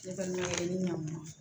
Ne balimamuso ɲan